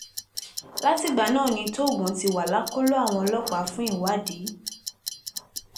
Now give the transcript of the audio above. látìgbà náà ni tóògùn ti wà lákọlò àwọn ọlọ́pàá fún ìwádìí